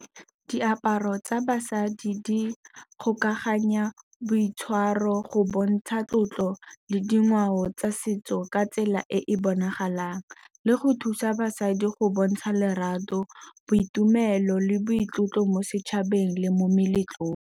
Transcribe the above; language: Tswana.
Diaparo tsa basadi di kgokaganya boitshwaro, go bontsha tlotlo le dingwao tsa setso ka tsela e e bonagalang, le go thusa basadi go bontsha lerato, boitumelo le boitlotlo mo setšhabeng le mo meletlong.